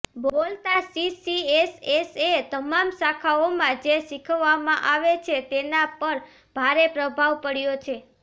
બોલતા સીસીએસએસએ તમામ શાખાઓમાં જે શીખવવામાં આવે છે તેના પર ભારે પ્રભાવ પાડ્યો છે